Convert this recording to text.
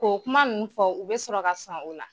K'o kuma nunnu fɔ u be sɔrɔ ka sɔn o la.